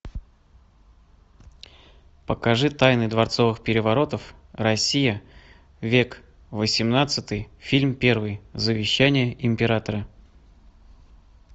покажи тайны дворцовых переворотов россия век восемнадцатый фильм первый завещание императора